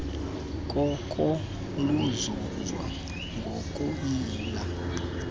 koko luzuzwa ngokuyila